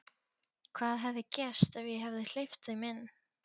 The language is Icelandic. Hvað hefði gerst ef ég hefði hleypt þeim inn?